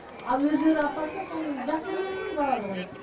ал өздері апарса сол жақсы болады ғой барады ғой